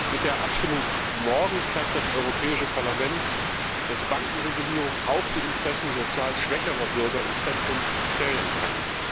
Mit der Abstimmung morgen zeigt das Europäische Parlament, dass Bankenregulierung auch die Interessen sozial schwächerer Bürger ins Zentrum stellen kann.